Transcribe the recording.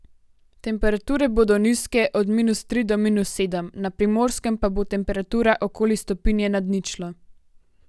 Temperature bodo nizke, od minus tri do minus sedem, na Primorskem pa bo temperatura okoli stopinje nad ničlo.